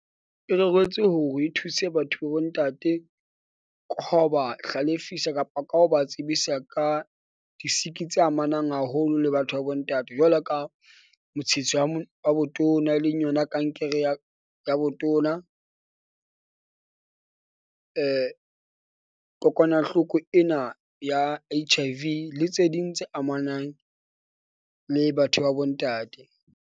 E reretswe hore e thuse batho ba bo ntate hlalefisa kapa ka ho ba tsebisa ka di siki tse amanang haholo le batho ba bo ntate. Jwalo ka wa botona, e leng yona kankere ya botona . Kokwanahloko ena ya H_ I_ V le tse ding tse amanang le batho ba bo ntate.